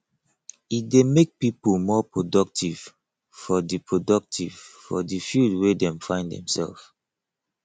e de make pipo more productive for the productive for the field wey dem find themselves